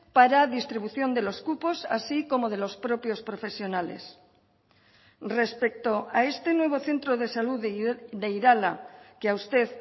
para distribución de los cupos así como de los propios profesionales respecto a este nuevo centro de salud de irala que a usted